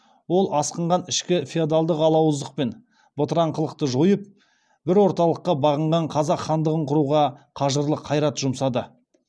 ол асқынған ішкі феодалдық алауыздық пен бытыраңқылықты жойып бір орталыққа бағынған қазақ хандығын құруға қажырлы қайрат жұмсады